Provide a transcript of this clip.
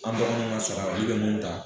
An dɔrɔn kanana sɔn, nka ale bɛ mun ta.